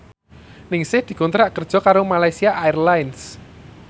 Ningsih dikontrak kerja karo Malaysia Airlines